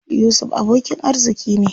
Yusuf abokin arziƙi ne.